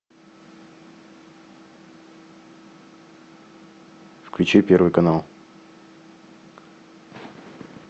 включи первый канал